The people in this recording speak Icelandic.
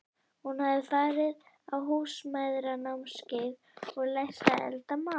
Hún hafði farið á Húsmæðranámskeið og lært að elda mat.